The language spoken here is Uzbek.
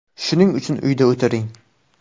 Shuning uchun uyda o‘tiring.